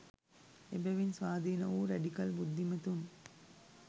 එබැවින් ස්වාධීන වූ රැඩිකල් බුද්ධිමතුන්